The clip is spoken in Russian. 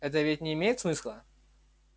это ведь не имеет смысла